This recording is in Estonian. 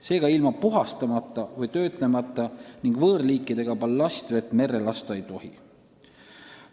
Seega, ilma puhastamata või töötlemata ja võõrliikidega ballastvett merre lasta ei tohi.